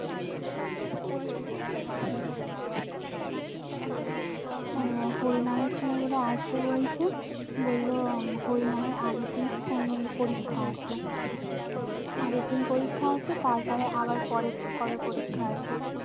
আহ হরিনামের সময় বলে আসবে বলছে বললো হরিনামের আগেরদিন ওর মেয়ের পরীক্ষা আছে আগের দিন পরীক্ষা আছে তারপরে আবার পরে কবে পরীক্ষা আছে